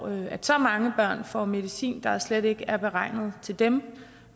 at så mange børn får medicin der slet ikke er beregnet til dem